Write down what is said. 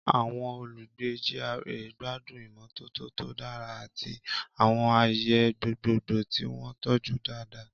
Àwọn olùgbé GRA gbádùn ìmọ́tótó tó dára àti àwọn ààyè gbogbogbò tí wọ́n tọ́jú dáadáa.